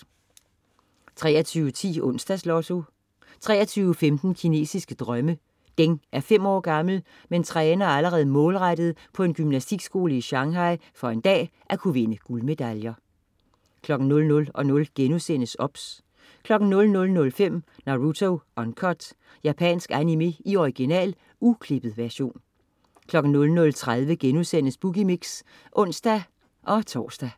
23.10 Onsdags Lotto 23.15 Kinesiske drømme. Deng er fem år gammel, men træner allerede målrettet på en gymnastikskole i Shanghai for en dag at kunne vinde guldmedaljer 00.00 OBS* 00.05 Naruto Uncut. Japansk animé i original, uklippet version 00.30 Boogie Mix* (ons-tors)